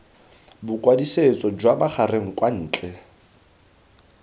bokwadisetso jwa magareng kwa ntle